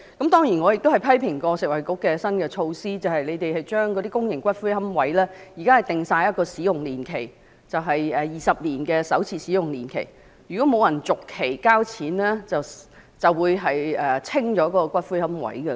當然我亦批評過食衞局的新措施，將公營骨灰龕位設定了使用年期——現時是20年的首次使用年期，如果不續期交錢便會把骨灰龕位清理。